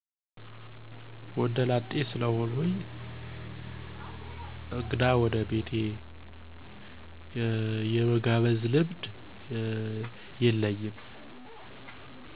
ወንደ ላጤ ስለሆንኩ እንግዳ ወደ ቤቴ የመጋብዝ ልምድ የለኝም።